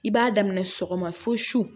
I b'a daminɛ sɔgɔma fo su